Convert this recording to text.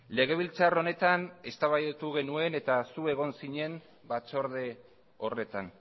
legebiltzar honetan eztabaidatu genuen eta zu egon zinen batzorde horretan